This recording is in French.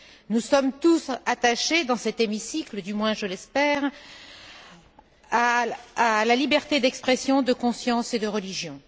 Nous sommes tous attachés dans cet hémicycle, du moins je l'espère, à la liberté d'expression, de conscience et de religion.